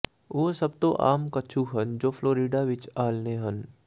ਉਹ ਸਭ ਤੋਂ ਆਮ ਕੱਛੂ ਹਨ ਜੋ ਫਲੋਰੀਡਾ ਵਿੱਚ ਆਲ੍ਹਣੇ ਹਨ